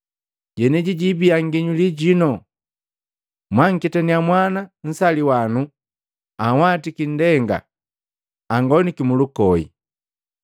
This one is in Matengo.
Jeneji jibiya nginyuli jino, mwanketaniya mwana nsaliwano anhwati indenga, angoniki mulukoi.”